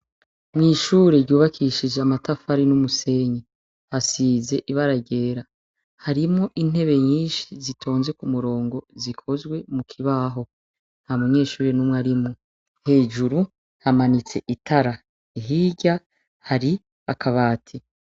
Mw'ishure ryubakishije amatafari n'umusenyi, hasize ibaragera harimwo intebe nyinshi zitonze ku murongo zikozwe mu kibaho, nta munyeshuri n'umwe arimwo hejuru hamanitse itara hirya hari akabati.